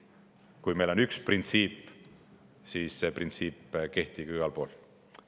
Kui meil on üks printsiip, siis see printsiip kehtib ju igal pool.